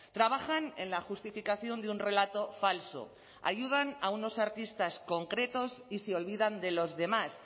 trabajan en la justificación de un relato falso ayudan a unos artistas concretos y se olvidan de los demás